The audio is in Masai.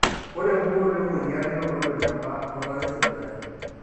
ore empukunoto emueyian neitodolu eneba olola lesipitali